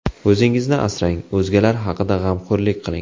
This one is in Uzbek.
O‘zingizni asrang, o‘zgalar haqida g‘amxo‘rlik qiling.